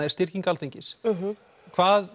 er styrking Alþingis hvað